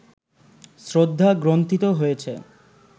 শ্রদ্ধা গ্রন্থিত হয়েছে